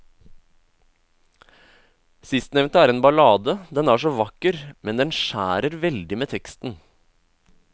Sistnevnte er en ballade, den er så vakker, men den skjærer veldig med teksten.